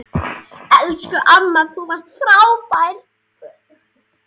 Elsku amma, þú varst frábær.